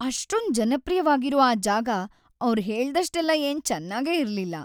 ‌ಅಷ್ಟೊಂದ್ ಜನಪ್ರಿಯ್ವಾಗಿರೋ ಆ ಜಾಗ ಅವ್ರ್ ಹೇಳ್ದಷ್ಟೆಲ್ಲ ಏನ್ ಚೆನ್ನಾಗೇ ಇರ್ಲಿಲ್ಲ.